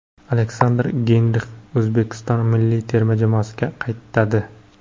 Aleksandr Geynrix O‘zbekiston milliy terma jamoasiga qaytadi.